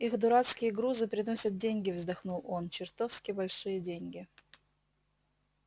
их дурацкие грузы приносят деньги вздохнул он чертовски большие деньги